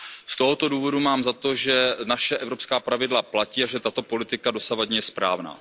Z tohoto důvodu mám za to, že naše evropská pravidla platí a že tato dosavadní politika je správná.